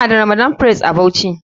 Muna da ramadan fress a bauchi.